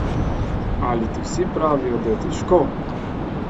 Ali ti vsi pravijo, da je težko?